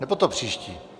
Nebo to příští?